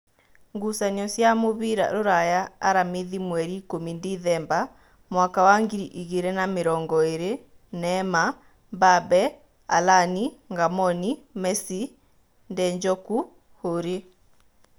Ngucanio cia mũbira Ruraya Aramithi mweri ikũmi Ndithemba mwaka wa ngiri igĩrĩ na namĩrongoĩrĩ: Neema, Mbabe, Alani, Ngamboni, Mesi , Ndenjoku, Huri